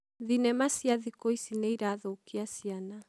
thinema cia thĩkũ ici nĩirathũkia ciana